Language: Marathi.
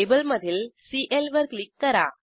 टेबलमधील सीएल वर क्लिक करा